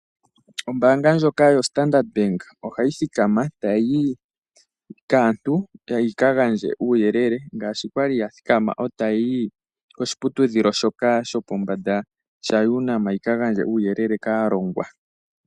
Ombanga ndjoka yoStandard Bank ohayi thikama tayi yi kaantu yi ka gandje uuyele ngaashi kwali ya thikama e tayi yi koshiputudhilo shoka shopombanda shaUNAM yi ka gandje uuyelele kaalongwa.